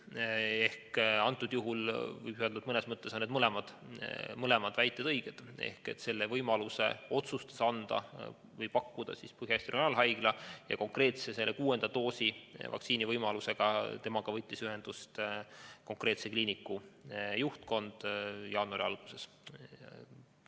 Nii et antud juhul võib öelda, et mõnes mõttes on teie mõlemad väited õiged: selle võimaluse otsustas anda või pakkuda Põhja-Eesti Regionaalhaigla ja selle konkreetse, kuuenda vaktsiinidoosi võimaluse asjus võttis temaga ühendust kliiniku juhtkond jaanuari alguses.